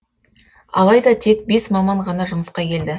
алайда тек бес маман ғана жұмысқа келді